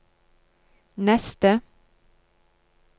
neste